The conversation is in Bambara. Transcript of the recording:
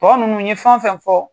Mɔgɔ minnu ye fɛn o fɛn fɔ